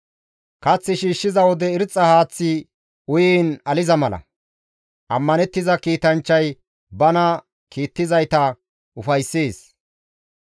Kath shiishshiza wode irxxa haaththi uyiin aliza mala; ammanettiza kiitanchchay bana kiittizayta ufayssees.